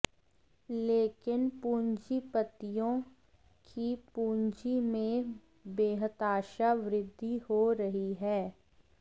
लेकिन पंूजीपतियों की पंूजी में बेहताशा वृद्धि हो रही है